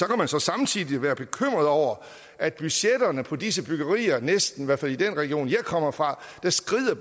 kan så samtidig være bekymret over at budgetterne for disse byggerier i hvert fald i den region jeg kommer fra skrider